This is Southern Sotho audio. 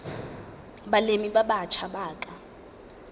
balemi ba batjha ba ka